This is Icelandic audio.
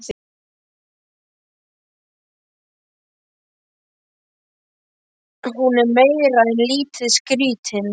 Hún er meira en lítið skrítin.